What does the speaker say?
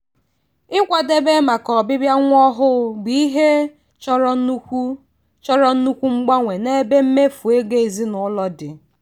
ikwadebe maka ọbịbịa nwa ọhụụ bụ ihe chọrọ nnukwu chọrọ nnukwu mgbanwe n'ebe mmefu ego ezinụlọ dị.